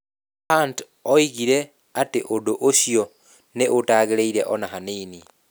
Hunt oigire atĩ ũndũ ũcio nĩ 'ũtagĩrĩire o na hanini.'